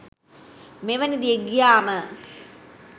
මෙවැනි දේ ගියාම